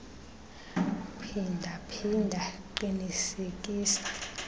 phinda phinda qinisekisa